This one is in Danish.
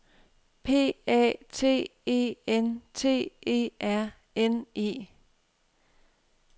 P A T E N T E R N E